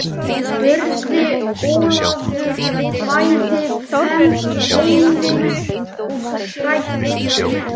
spurði Ólafur bæði feiminn og hræddur.